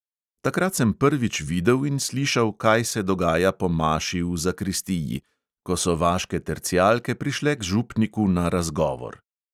Takrat sem prvič videl in slišal, kaj se dogaja po maši v zakristiji, ko so vaške tercijalke prišle k župniku na "razgovor".